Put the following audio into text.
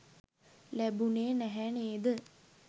ලැබුණේ නැහැ නේද?